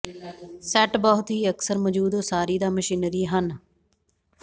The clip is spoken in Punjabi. ਸੈੱਟ ਬਹੁਤ ਹੀ ਅਕਸਰ ਮੌਜੂਦ ਉਸਾਰੀ ਦਾ ਮਸ਼ੀਨਰੀ ਹਨ